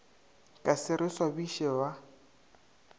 ka se re swabiše ba